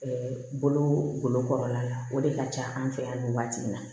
bolokɔrɔla la o de ka ca an fɛ yan nin waati in na